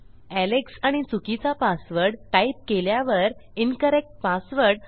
Alex आणि चुकीचा password type केल्यावर इन्करेक्ट पासवर्ड